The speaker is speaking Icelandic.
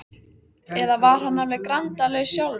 Eða var hann alveg grandalaus sjálfur?